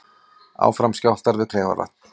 Áfram skjálftar við Kleifarvatn